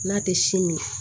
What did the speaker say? N'a tɛ si min